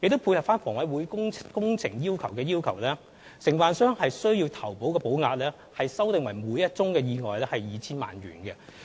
配合房委會工程的要求，承辦商的投保保額修訂為每宗意外 2,000 萬元。